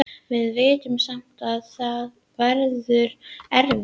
Við vitum samt að það verður erfitt.